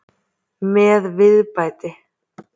Með viðbæti.